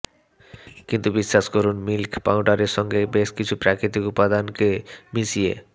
কিন্তু বিশ্বাস করুন মিল্ক পাউডারের সঙ্গে বেশ কিছু প্রকৃতিক উপাদানকে মিশিয়ে